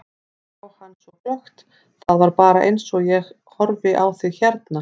Ég sá hann svo glöggt, það var bara eins og ég horfi á þig hérna.